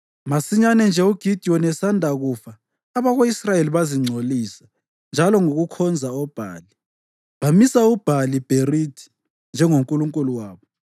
Masinyane nje uGidiyoni esanda kufa abako-Israyeli bazingcolisa njalo ngokukhonza oBhali. Bamisa uBhali-Bherithi njengonkulunkulu wabo